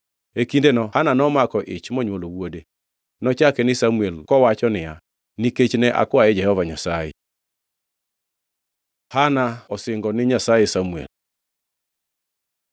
E kindeno Hana nomako ich monywolo wuode. Nochake ni Samuel kowacho niya, “Nikech ne akwaye Jehova Nyasaye.” Hana osingo ni Nyasaye Samuel